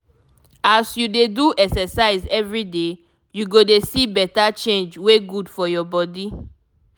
as you dey do exercise everyday you go dey see better change wey good for your body.